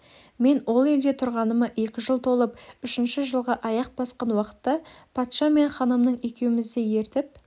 менің ол елде тұрғаныма екі жыл толып үшінші жылға аяқ басқан уақытта патша мен ханым екеуімізді ертіп